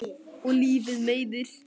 Og lífið meiðir.